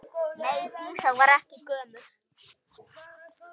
Nei, Dísa var ekki gömul.